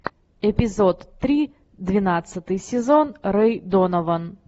эпизод три двенадцатый сезон рэй донован